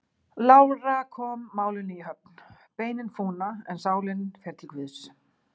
Lára kom málinu í höfn: Beinin fúna, en sálin fer til Guðs.